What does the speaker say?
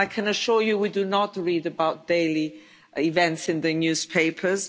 Well I can assure you we do not read about daily events in the newspapers.